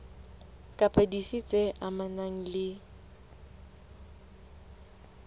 kapa dife tse amanang le